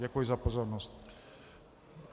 Děkuji za pozornost.